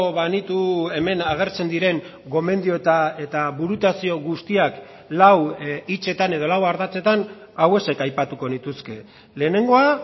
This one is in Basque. banitu hemen agertzen diren gomendio eta burutazio guztiak lau hitzetan edo lau ardatzetan hauexek aipatuko nituzke lehenengoa